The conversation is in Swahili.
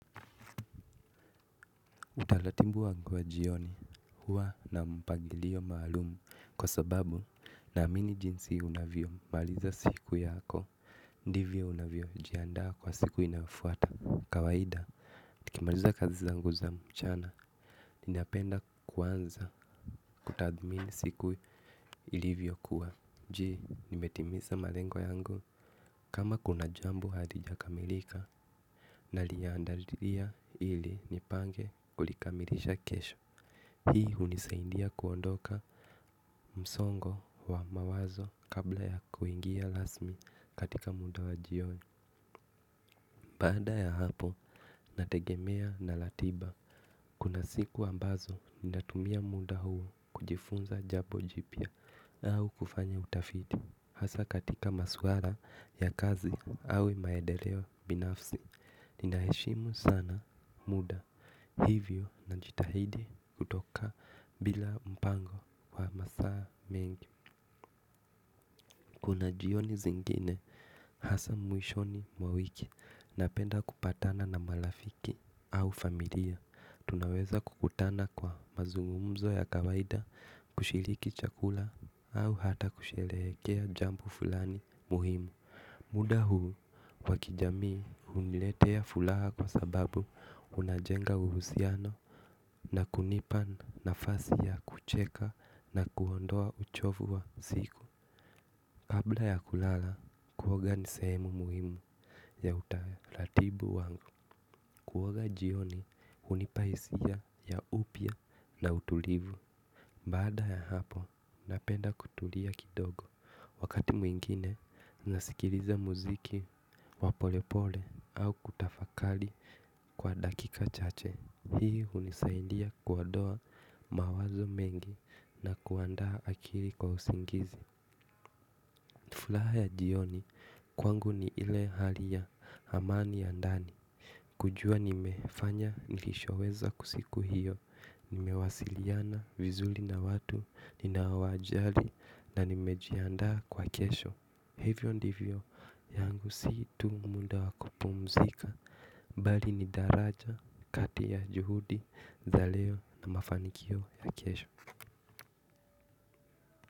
Utaratibu wangu wa jioni huwa na mpangilio maalumu kwa sababu naamini jinsi unavyo maliza siku yako ndivyo unavyojiandaa kwa siku inafuata kawaida, nikimaliza kazi zangu za mchana, ninapenda kuanza kutadhmini siku ilivyokuwa. Jile nimetimiza malengo yangu kama kuna jambo halijakamilika. Naliandalia ili nipange kulikamilisha kesho hii hunisaidia kuondoka mdongo wa mawazo kabla ya kuingia rasmi kataika muda w ajioni baada ya hapo nategemea na ratiba kuna siku ambazo ninatumia muda huo kujifunza jambo jipya au kufanya utafiti hasa katika maswala ya kazi au maedeleo binafsi. Ninaheshimu sana muda. Hivyo najitahidi kutoka bila mpango wa masaa mengi. Kuna jioni zingine hasa mwishoni mwa wiki napenda kupatana na marafiki au familia tunaweza kukutana kwa mazungumzo ya kawaida kushiriki chakula au hata kusherehekea jambo fulani muhimu muda huu wakijamii huniletea furaha kwa sababu unajenga uhusiano na kunipa nafasi ya kucheka na kuondoa uchovu wa siku kabla ya kulala kuoga ni sehemu muhimu ya utaratibu wangu kuoga jioni hunipa hisia ya upya na utulivu baada ya hapo napenda kutulia kidogo wakati mwingine nasikiliza muziki wa polepole au kutafakari kwa dakika chache. Hii hunisaindia kuondoa mawazo mengi na kuanda akili kwa usingizi furaha ya jioni kwangu ni ile hali ya amani ya ndani. Kujua nimefanya nilishoweza kwa siku hiyo, nimewasiliana vizuri na watu, ninaawajali na nimejiandaa kwa kesho. Hivyo ndivyo, yangu si tu munda wakupumzika, bali ni daraja, kati ya juhudi, za leo na mafanikio ya kesho.